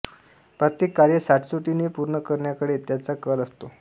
प्रत्येक कार्य सचोटीने पूर्ण करण्याकडे त्यांचा कल असतो